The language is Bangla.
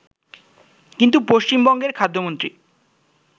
কিন্তু পশ্চিমবঙ্গের খাদ্যমন্ত্রী